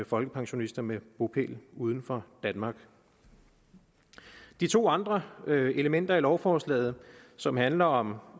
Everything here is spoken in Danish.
folkepensionister med bopæl uden for danmark de to andre elementer i lovforslaget som handler om